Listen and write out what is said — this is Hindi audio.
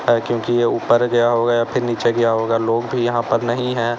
है क्योंकि ये ऊपर गया हो गया होगा या फिर नीचे गया होगा लोग भी यहां पर नहीं है।